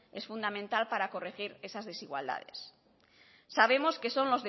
es fundamental para corregir esas desigualdades sabemos que son